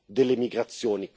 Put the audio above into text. delle migrazioni